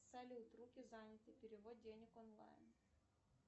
салют руки заняты перевод денег онлайн